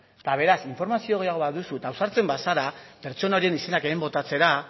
eta beraz informazio gehiago baduzu eta ausartzen bazara pertsona horien izenak hemen botatzera